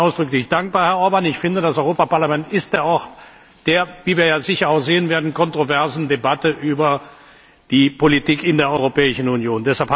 Dafür bin ich Ihnen ausdrücklich dankbar, Herr Orbán. Ich finde, das Europäische Parlament ist der Ort, der wie wir ja sicher auch sehen werden kontroversen Debatte über die Politik in der Europäischen Union.